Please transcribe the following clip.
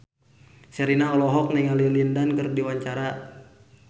Sherina olohok ningali Lin Dan keur diwawancara